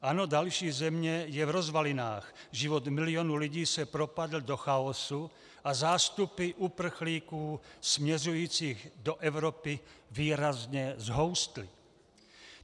Ano, další země je v rozvalinách, život milionů lidí se propadl do chaosu a zástupy uprchlíků směřujících do Evropy výrazně zhoustly.